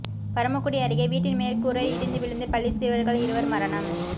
பரமக்குடி அருகே வீட்டின் மேற்கூரை இடிந்து விழுந்து பள்ளிச் சிறுவர்கள் இருவர் மரணம்